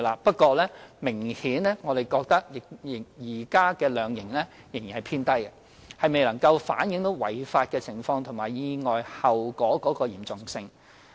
不過，我們認為現時的量刑仍然偏低，顯然未能反映違法情況和意外後果的嚴重性。